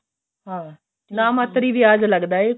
ਹਾਂ ਨਾ ਮਾਤਰ ਹੀ ਵਿਆਜ ਲਗਦਾ ਏ ਕੋਈ